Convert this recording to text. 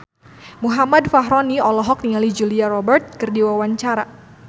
Muhammad Fachroni olohok ningali Julia Robert keur diwawancara